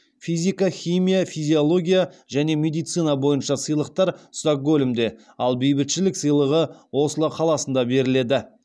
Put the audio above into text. физика химия физиология және медицина бойынша сыйлықтар стокгольмде ал бейбітшілік сыйлығы осло қаласында беріледі